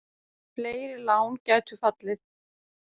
Fleiri lán gætu fallið.